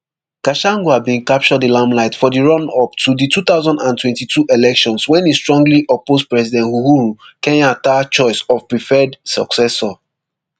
gachagua bin capture di limelight for di runup to di two thousand and twenty-two elections wen e strongly oppose president uhuru kenyatta choice of preferred successor